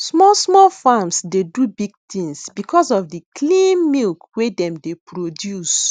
small small farms dey do big things because of the clean milk wey dem dey produce